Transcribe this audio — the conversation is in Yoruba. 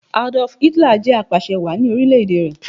Adolf Hitler jẹ̀ apàsẹ wàá ni orílẹ̀ èdè rẹ̀